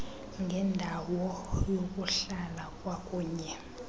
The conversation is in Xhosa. ngendawo yokuhlala kwakunye